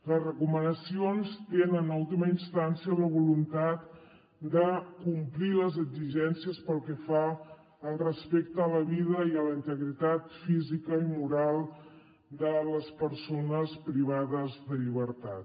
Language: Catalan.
les recomanacions tenen en última instància la voluntat de complir les exigències pel que fa al respecte a la vida i a la integritat física i moral de les persones privades de llibertat